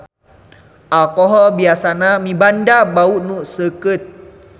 Alkohol biasana mibanda bau nu seukeut.